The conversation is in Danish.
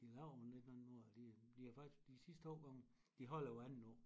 De laver jo noget nyt hver andet år og de de har faktisk de sidste årgange de holder jo hver andet år